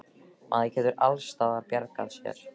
Maður getur alls staðar bjargað sér.